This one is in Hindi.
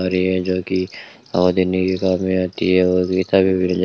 और ये है जो कि पौधे नीले कलर में आती है और मिल जा--